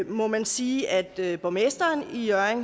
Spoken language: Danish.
må man sige at borgmesteren i hjørring